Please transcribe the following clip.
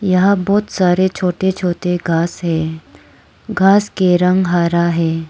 यहां बहुत सारे छोटे छोटे घास है घास के रंग हरा है।